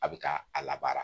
A bɛ ka a labaara